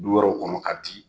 Du wɛrɛw kɔnɔ ka di